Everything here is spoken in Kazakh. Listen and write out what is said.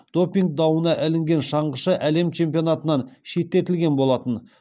допинг дауына ілінген шаңғышы әлем чемпионатынан шеттетілген болатын